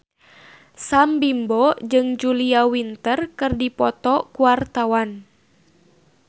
Sam Bimbo jeung Julia Winter keur dipoto ku wartawan